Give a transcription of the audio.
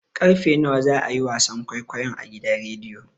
Karfe nawa za a yi wasan kwaikwayon a gidan rediyon?